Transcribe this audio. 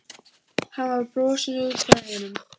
Hann skal fá spýtur einhvers staðar.